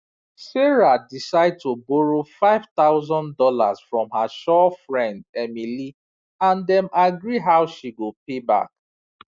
sarah decide to borrow five thousand dollars from her sure friend emily and dem agree how she go pay back